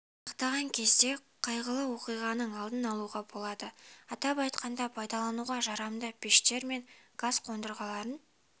сақтаған кезде қайғылы оқиғаның алдын алуға болады атап айтқанда пайдалануға жарамды пештер мен газ қондырғыларын